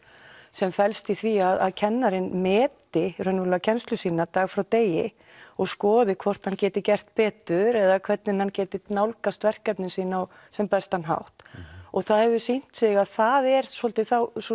sem felst í því að kennarinn meti raunverulega kennslu sína dag frá degi og skoði hvort hann geti gert betur eða hvernig hann geti nálgast verkefnin sín á sem bestan hátt og það hefur sýnt sig að það er svolítið